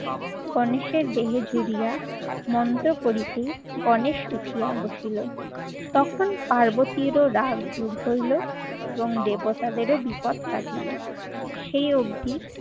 গণেশের দেহে জুড়িয়া মন্ত্র করিতে গণেশ উঠিয়া বসিলো। তখন পার্বতীরও রাগ দূর হল এবং দেবতাদেরও বিপদ কাটিলো। সেই অবধি